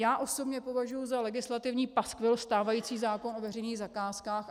Já osobně považuji za legislativní paskvil stávající zákon o veřejných zakázkách.